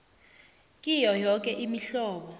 kiyo yoke imihlobo